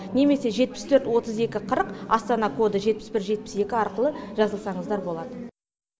немесе жетпіс төрт отыз екі қырық астана коды жетпіс бір жетпіс екі арқылы жазылсаңыздар болады